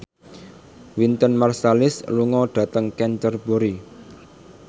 Wynton Marsalis lunga dhateng Canterbury